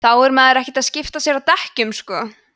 þá er maður ekkert að skipta sér að dekkjunum sko